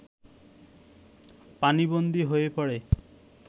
পানিবন্দী হয়ে পড়ে